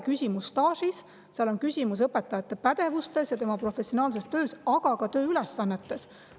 Küsimus ei ole staažis, küsimus on õpetaja pädevuses ja tema professionaalses töös, aga ka tööülesannetes.